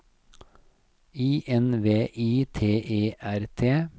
I N V I T E R T